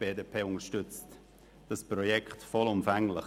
Die BDP unterstützt das Projekt vollumfänglich.